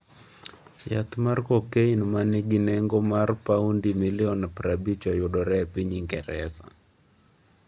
Yath mar kokain ma nigi nengo mar paundi milion prabich, oyudre e piny Ingresa